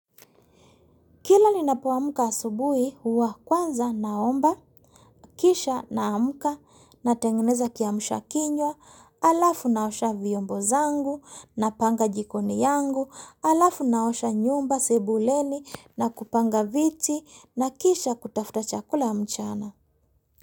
Kila ninapoamka huwa kwanza asubuhi huwa kwanza naomba, kisha na amka na tengeneza kiamsha kinywa, alafu naosha vyombo zangu na panga jikoni yangu, alafu na osha nyumba sebuleni na kupanga viti na kisha kutafuta chakula mchana.